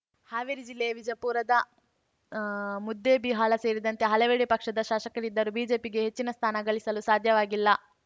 ಹಾವೇರಿ ಜಿಲ್ಲೆ ವಿಜಯಪುರದ ಆ ಮುದ್ದೇಬಿಹಾಳ ಸೇರಿದಂತೆ ಹಲವೆಡೆ ಪಕ್ಷದ ಶಾಸಕರಿದ್ದರೂ ಬಿಜೆಪಿಗೆ ಹೆಚ್ಚಿನ ಸ್ಥಾನ ಗಳಿಸಲು ಸಾಧ್ಯವಾಗಿಲ್ಲ